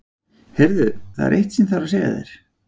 Heyrðu. það er eitt sem ég þarf að segja þér!